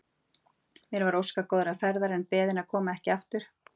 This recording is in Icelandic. Mér var óskað góðrar ferðar en beðin að koma ekki aftur.